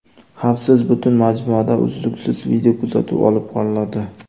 Xavfsiz butun majmuada uzluksiz videokuzatuv olib boriladi.